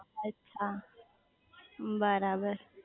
અચ્છા બરાબર